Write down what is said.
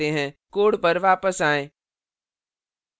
code पर वापस आएँ